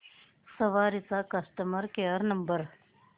सवारी चा customer care number